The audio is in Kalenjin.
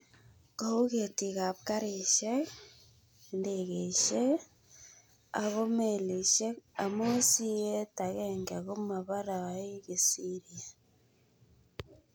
Kou ketiikab garisyek, indegeisyek ako melisyek amu sieet agenge komabaraei kisirya.